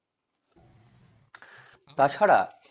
তাছাড়া